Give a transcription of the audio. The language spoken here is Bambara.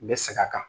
N bɛ sɛgɛn a kan